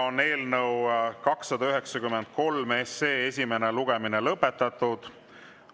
Eelnõu 293 esimene lugemine on lõpetatud.